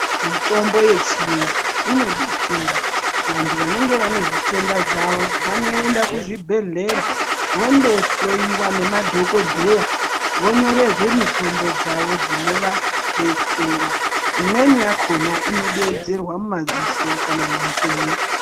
Mitombo yechiyungu inodetsera vantu vanenge vane zvitenda zvawo vanoenda kuzvibhehlera vondohloiwa nemadhokodheya vonyorerwe mitombo dzawo dzinovadetsera imweni yakona inodeedzerwa mumadziso kana munzee.